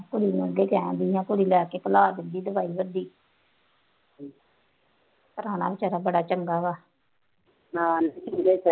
ਕੁੜੀ ਅੱਗੇ ਕਹਿਣ ਦੀ ਹੈ ਕੁੜੀ ਲਿਆ ਕੇ ਖਿਲਾ ਦੇਊਗੀ ਦਵਾਈ ਪ੍ਰਾਹੁਣਾ ਬੇਚਾਰਾ ਬੜਾ ਚੰਗਾ ਵਾ, ਨਾਲ ਨਿੱਕੀ ਦੇ